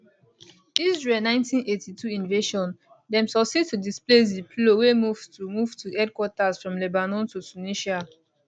israel 1982 invasion dem succeed to displace di plo wey move to move to headquarters from lebanon to tunisia